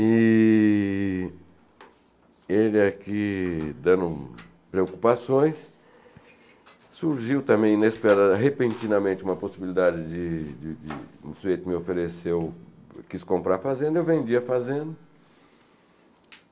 E ele aqui, dando preocupações, surgiu também inesperada, repentinamente, uma possibilidade de de de um sujeito que me ofereceu, quis comprar a fazenda, eu vendi a fazenda